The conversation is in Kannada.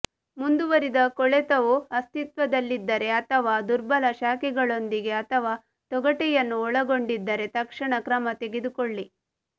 ಮುಂದುವರಿದ ಕೊಳೆತವು ಅಸ್ತಿತ್ವದಲ್ಲಿದ್ದರೆ ಅಥವಾ ದುರ್ಬಲ ಶಾಖೆಗಳೊಂದಿಗೆ ಅಥವಾ ತೊಗಟೆಯನ್ನು ಒಳಗೊಂಡಿದ್ದರೆ ತಕ್ಷಣ ಕ್ರಮ ತೆಗೆದುಕೊಳ್ಳಿ